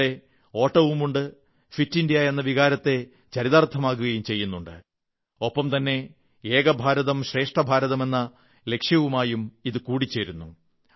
ഇവിടെ ഓട്ടവുമുണ്ട് fit India എന്ന വികാരത്തെ ചരിതാർഥമാക്കുകയും ചെയ്യുന്നുണ്ട് ഒപ്പം തന്നെ ഏകഭാരതം ശ്രേഷ്ഠ ഭാരതം എന്ന ലക്ഷ്യവുമായും ഇതു കൂടിച്ചേരുന്നു